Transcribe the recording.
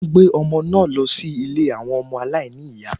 Wọ́n gbé ọmọ náà lọ sí ilé àwọn ọmọ aláìní ìyá